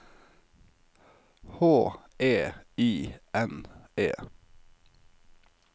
H E I N E